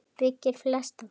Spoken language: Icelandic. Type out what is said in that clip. byggir flestan dag